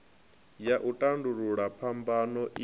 ya u tandulula phambano i